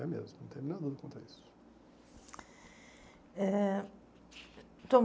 É mesmo, não tem nada contra isso. Eh